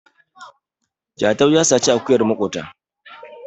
Jatau ya saci akuyar makota